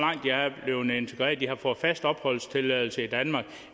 blevet integreret om de har fået fast opholdstilladelse i danmark